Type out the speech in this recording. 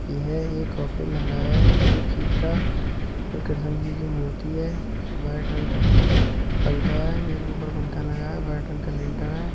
यह एक ऑफिस लग रहा है किसी चीज का और कृष्ण जी की मूर्ति है व्हाइट रंग का पंखा है एक ऊपर पंखा लगा है। व्हाइट रंग का लिन्टर है।